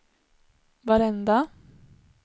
varenda